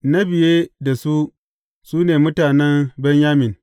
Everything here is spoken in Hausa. Na biye da su su ne mutanen Benyamin.